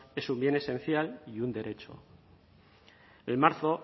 es un bien esencial y un derecho en marzo